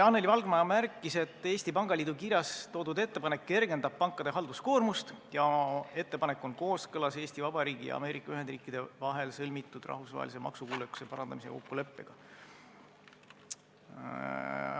Anneli Valgma märkis, et Eesti Pangaliidu kirjas toodud ettepanek kergendaks pankade halduskoormust ning ettepanek on kooskõlas Eesti Vabariigi ja Ameerika Ühendriikide vahel sõlmitud rahvusvahelise maksukuulekuse parandamise kokkuleppega.